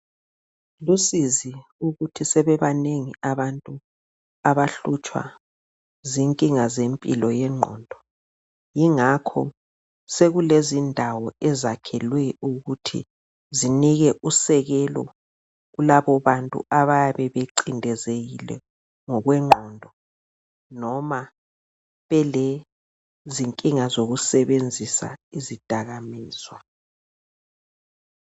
Lusizi ukuthi sebebanengi abantu abahlutshwa zinkinga zempilo yengqondo yingakho sokulezindawo ezakhelwe ukuthi zinikwe usekelo kulabo bantu abayabe becindezekile ngokwengqondo noma belezinkinga sokusebenzisa izidakamizwa.